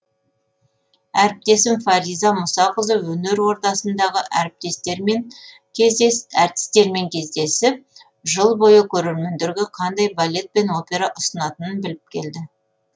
әріптесім фариза мұсақызы өнер ордасындағы әртістермен кездесіп жыл бойы көрермендерге қандай балет пен опера ұсынатынын біліп келді